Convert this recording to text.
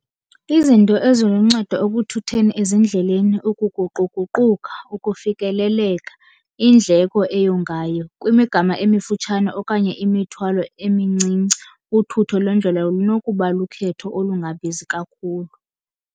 Izinto eziluncedo ekuthutheni ezindleleni, ukuguquguquka, ukufikeleleka, indleko eyongayo. Kwimigama emifutshane okanye imithwalo emincinci, uthutho lwendlela lunokuba lukhetho olungabizi kakhulu.